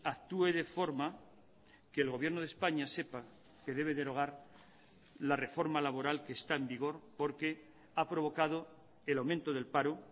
actúe de forma que el gobierno de españa sepa que debe derogar la reforma laboral que está en vigor porque ha provocado el aumento del paro